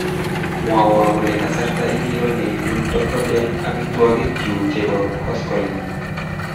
Mwowo kole kasarta ingiro neibun Tacobell amitwogik chu chebo koskolik